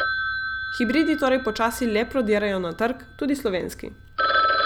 Hibridi torej počasi le prodirajo na trg, tudi slovenski.